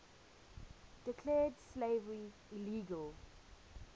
declared slavery illegal